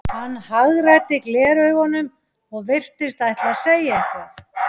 Hann hagræddi gleraugunum og virtist ætla að segja eitthvað.